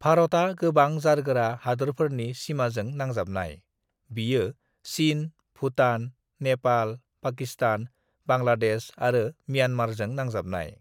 "भारतआ गोबां जारगोरा हादोरफोरनि सिमाजों नांजाबनाय; बियो चिन, भुटान, नेपाल, पाकिस्तान, बांग्लादेश आरो म्यांमारजों नांजाबनाय। "